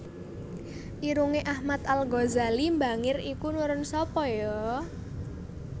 Irunge Ahmad Al Ghazali mbangir iki nurun sapa yo